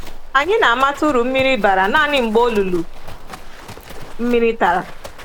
“Anyị na-amata uru mmiri bara nanị mgbe olulu mmiri tara.